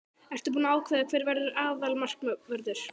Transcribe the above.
Ertu búinn að ákveða hver verður aðalmarkvörður?